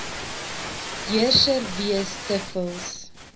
heerser wees dikwels